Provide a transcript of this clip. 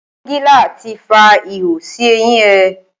Pọ́ngilá ti fa ihò sí eyín ẹ.